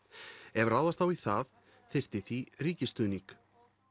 ef ráðast á í það þyrfti því ríkisstuðning